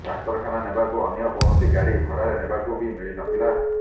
ଡାକ୍ତରଖାନା ନେବାକୁ ଅନ୍ୟ କୌଣସି ଗାଡି ଭଡାରେ ନେବାକୁ ବି ମିଳିନଥିଲା